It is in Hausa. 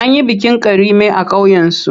An yi bikin Karime a ƙauyensu.